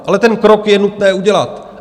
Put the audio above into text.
Ale ten krok je nutné udělat.